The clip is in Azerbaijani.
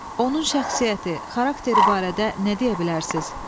Onun şəxsiyyəti, xarakteri barədə nə deyə bilərsiniz?